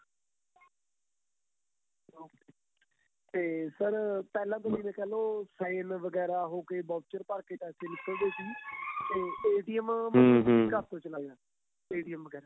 ਤੇ sir ਪਹਿਲਾਂ ਤੁਸੀਂ ਇਵੇਂ ਕਹਿਲੋ sign ਵਗੇਰਾ ਹੋਕੇ voucher ਭਰ ਕੇ ਪੈਸੇ ਨਿੱਕਲ ਦੇ ਸੀ ਤੇ ਘਰ ਤੋ ਚਲਾਈਦਾ ਵਗੇਰਾ